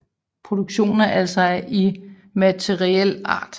Produktionen er altså af immateriel art